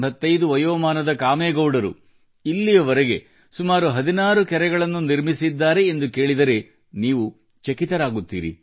8085 ವಯೋಮಾನದ ಕಾಮೇಗೌಡರು ಇಲ್ಲಿಯವರೆಗೆ ಸುಮಾರು 16 ಕೆರೆಗಳನ್ನು ನಿರ್ಮಿಸಿದ್ದಾರೆ ಎಂದು ಕೇಳಿದರೆ ನೀವು ಚಕಿತರಾಗುತ್ತೀರಿ